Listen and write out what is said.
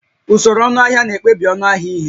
Usoro ọnụahịa na-ekpebi ọnụ ahịa ihe